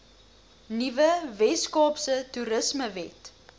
nuwe weskaapse toerismewet